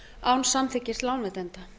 án samþykkis lánveitenda